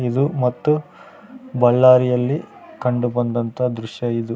ಇದು ಮತ್ತು ಬಳ್ಳಾರಿಯಲ್ಲಿ ಕಂಡು ಬಂದಂಥ ದೃಶ್ಯ ಇದು.